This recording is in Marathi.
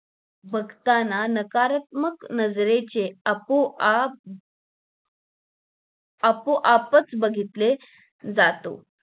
बघताना नकारत्मक नजरेचे आपोआप आपोआपच बघितले जाते